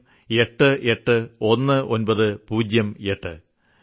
81908 81908